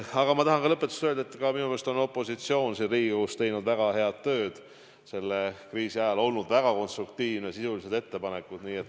Aga ma tahan lõpetuseks öelda, et minu meelest on opositsioon siin Riigikogus teinud väga head tööd selle kriisi ajal, olnud väga konstruktiivne, teinud sisulisi ettepanekuid.